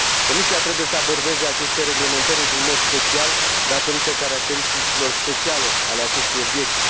Comisia trebuie să abordeze aceste reglementări într un mod special datorită caracteristicilor speciale ale acestui obiect